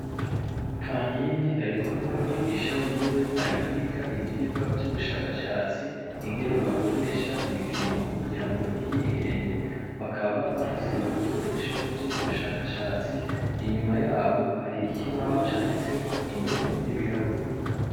Kankindi arikumwe n'umwigisha wiwe, ari kwiga ivyigwa vy'ubushakashatsi, ingene bakoresha ibipimo kugira ngo ntiyihende, bakaba bafise n'ibikoresho vyo m'ubushakashatsi, inyuma yabo hari ikibaho canditseko indome n'ibiharuro.